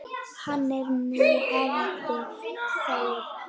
Hann er nú faðir þeirra.